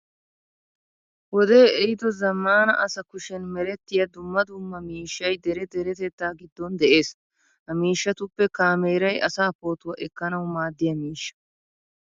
Wodee ehiido zammaana asa kushen merettiya dumma dumma miishshay dere deretettaa giddon de'ees. Ha miishshatuppe kaameeray asaa pootuwaa ekkanawu maaddiya miishsha.